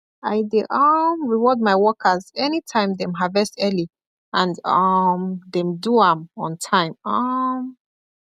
i dey um reward my workers anytime dem harvest early and um dem do am on time um